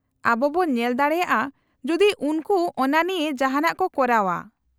-ᱟᱵᱚ ᱵᱚ ᱧᱮᱞ ᱫᱟᱲᱮᱭᱟᱜᱼᱟ ᱡᱩᱫᱤ ᱩᱱᱠᱩ ᱚᱱᱟ ᱱᱤᱭᱟᱹ ᱡᱟᱦᱟᱸᱱᱟᱜ ᱠᱚ ᱠᱚᱨᱟᱣᱼᱟ ᱾